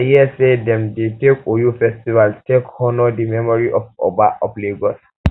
i hear sey dem dey dem dey take eyo festival take honour di memory of oba of lagos